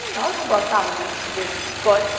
E nós não gostávamos de enchimento, que coisa!